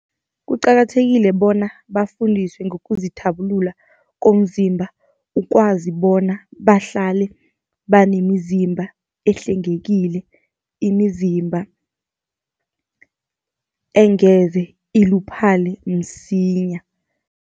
Kuqakathekile bona bafundiswe ngokuzithabulula komzimba, ukwazi bona bahlale banemizimba ehlengekile, imizimba engeze iluphale msinya.